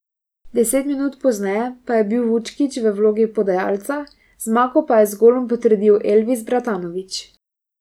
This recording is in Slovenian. Deset minut pozneje pa je bil Vučkić v vlogi podajalca, zmago pa je z golom potrdil Elvis Bratanović.